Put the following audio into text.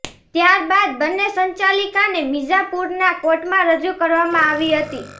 ત્યાર બાદ બંને સંચાલિકાને મિર્ઝાપુરના કોર્ટમાં રજુ કરવામાં આવી હતી